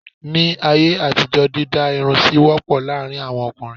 Ní ayé àtijó dídá irun sì wọ́pọ̀ láàárín àwọn ọkùnrin.